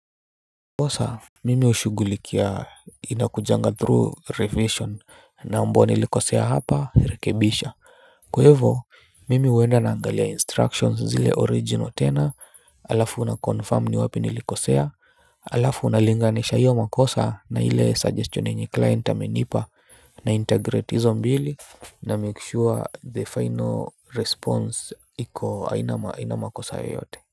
Kosa mimi hushugulikia inakujanga through revision naomba nilikosea hapa rekebisha kwa hivyo mimi huenda naangalia instructions zile original tena alafu naconfirm ni wapi nilikosea alafu nalinganisha hiyo makosa na ile suggestion yenye client amenipa naintegrate hizo mbili namake sure the final response iko haina makosa yoyote. Kwa hivyo.